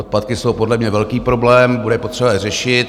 Odpadky jsou podle mě velký problém, bude potřeba je řešit.